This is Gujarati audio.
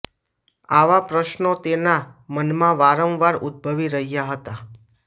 આવા પ્રશ્નો તેના મનમાં વારંવાર ઉદભવી રહ્યાં હતાં